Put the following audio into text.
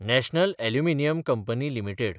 national Aluminium Company limited